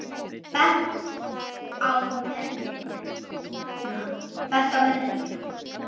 Bent á mennina mína.